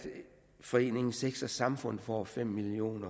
foreningen sex samfund får fem million